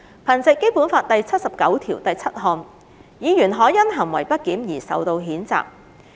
憑藉《基本法》第七十九條第七項，議員可因行為不檢而受到譴責。